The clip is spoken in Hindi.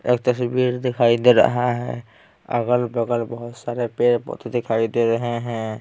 एक तस्वीर दिखाई दे रहा है अगल-बगल बहुत सारे पेड़-पौधे दिखाई दे रहे हैं।